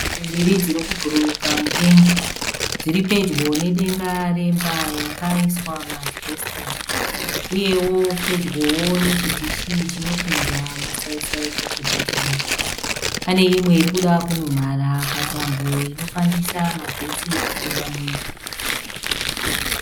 Shiri mbiri dziri kubhururuka mudenga. Dziri pedyo nedenga remba yakaiswa maasibhesitasi uyewo pedyowo nechidhishi chinopinza masaisai pachivhitivhiti. Pane imwe iri kuda kumhara patambo inofambisa magetsi kupinda mumba.